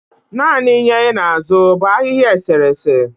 naanị ịnye i na-azụ bu ahịhịa eserese?